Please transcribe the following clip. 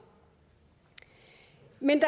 men